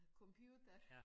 Computer